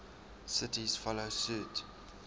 cities follow suit